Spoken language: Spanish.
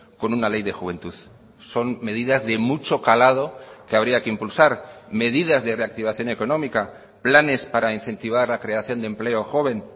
con una ley de juventud son medidas de mucho calado que habría que impulsar medidas de reactivación económica planes para incentivar la creación de empleo joven